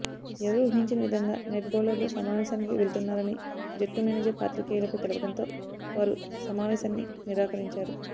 ఎవరూ ఊహించని విధంగా నెట్ బౌలర్లు సమావేశానికి వెళ్తున్నారని జట్టు మేనేజర్ పాత్రికేయులకు తెలపడంతో వారు సమావేశాన్ని నిరాకరించారు